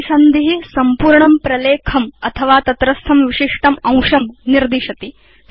परिसन्धि संपूर्णं प्रलेखम् अथवा तत्रस्थं विशिष्टम् अंशं निर्दिशति